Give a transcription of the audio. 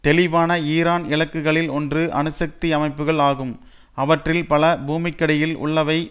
தெளிவான ஈரான் இலக்குகளில் ஒன்று அணுசக்தி அமைப்புக்கள் ஆகும் அவற்றில் பல பூமிக்கடியில் உள்ளவை